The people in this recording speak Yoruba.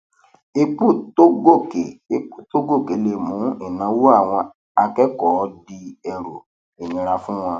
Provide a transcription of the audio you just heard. epo tó gòkè epo tó gòkè le mú kí ìnáwó àwọn akékòó di ẹrù ìnira fún wọn